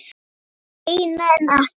Kannski seinna en ekki núna.